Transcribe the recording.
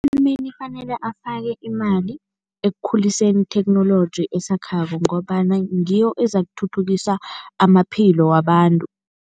Urhulumeni kufanele afake imali ekukhuliseni itheknoloji esakhako ngombana ngiyo ezakuthuthukisa amaphilo wabantu.